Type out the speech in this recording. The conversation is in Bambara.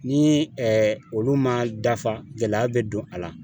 Ni olu ma dafa gɛlɛya bɛ don a la